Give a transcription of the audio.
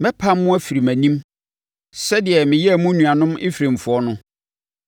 Mɛpam mo afiri mʼanim sɛdeɛ meyɛɛ mo nuanom Efraimfoɔ no.’